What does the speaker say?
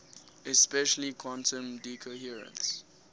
especially quantum decoherence